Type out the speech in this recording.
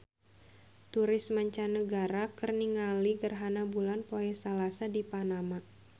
Turis mancanagara keur ningali gerhana bulan poe Salasa di Panama